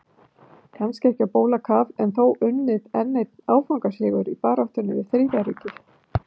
Kannski ekki á bólakaf en þó unnið enn einn áfangasigur í baráttunni við Þriðja ríkið.